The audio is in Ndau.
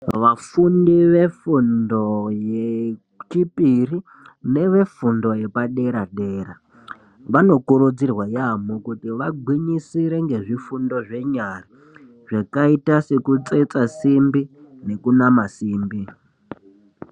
Vafundi vefundo yechipiri nevefundo yepadera-dera vanokurudzirwa yaamho kuti vagwinyisire ngezvifundo zvenyara, zvakaite sekutsetsa simbi nekunama simbi.